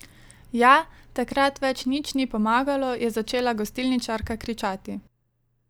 Ja, takrat več nič ni pomagalo, je začela gostilničarka kričati.